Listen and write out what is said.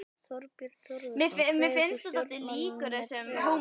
Þorbjörn Þórðarson: Kveður þú stjórnmálin með trega?